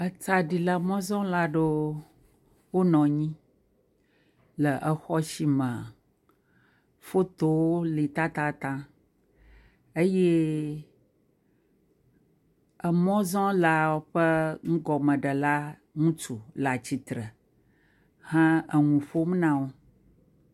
Etsɖila mɔzɔla aɖewo wonɔ anyi le exɔ si me fotowo li tatataŋ eye emɔzɔlawo ƒe nugɔmeɖela ŋutsu le atsitre he enu ƒom na wo.